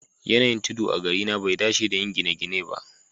Yanayin tudu a garina bai dace da yin gine-gine ba